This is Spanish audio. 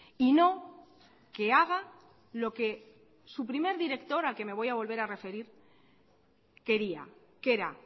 y no que haga lo que su primer director al que me voy a volver a referir quería que era